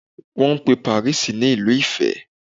Wọ́n pe Paris ní Ìlú ìfẹ́.